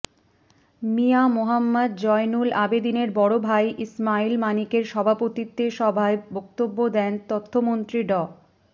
মিয়া মোহাম্মদ জয়নুল আবেদীনের বড় ভাই ইসমাইল মানিকের সভাপতিত্বে সভায় বক্তব্য দেন তথ্যমন্ত্রী ড